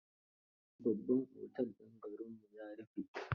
Babban otel din garinmu ya rufe.